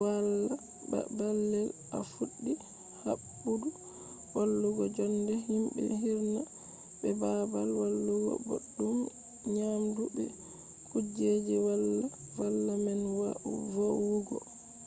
wala ba balde a fuddi habdu wadugo jonde himbe hirna be babal walugo boddum nyamdu be kujeji valla man vowugo